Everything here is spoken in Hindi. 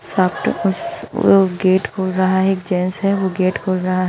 सामने उस वो गेट खोल रहा है एक जेंस है वो गेट खोल रहा--